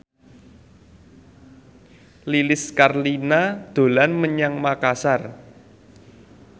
Lilis Karlina dolan menyang Makasar